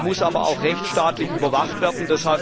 Sie muss aber auch rechtsstaatlich überwacht werden.